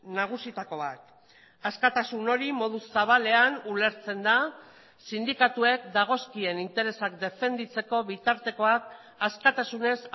nagusietako bat askatasun hori modu zabalean ulertzen da sindikatuek dagozkien interesak defenditzeko bitartekoak askatasunez